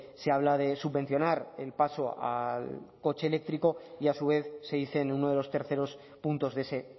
se habla de subvencionar el paso al coche eléctrico y a su vez se dice en uno de los terceros puntos de ese